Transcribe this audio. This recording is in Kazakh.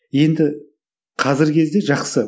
енді қазіргі кезде жақсы